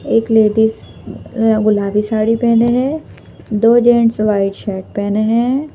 एक लेडीज गुलाबी साड़ी पहने हैं दो जेंट्स वाइट शर्ट पहने हैं।